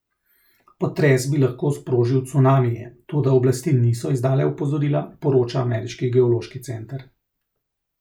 Potres bi lahko sprožil cunamije, toda oblasti niso izdale opozorila, poroča ameriški geološki center.